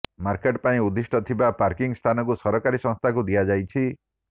market ପାଇଁ ଉଦ୍ଦିଷ୍ଟ ଥିବା ପାର୍କିଂ ସ୍ଥାନକୁ ସରକାରୀ ସଂସ୍ଥାକୁ ଦିଆଯାଇଛି